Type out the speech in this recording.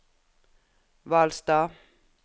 Hvalstad